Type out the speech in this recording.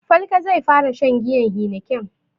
Falke zai fara shan giyan heineken.